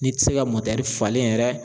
N'i tɛ se ka falen yɛrɛ